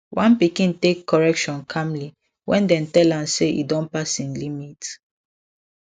one pikin take correction calmly when dem tell am say e don pass im limit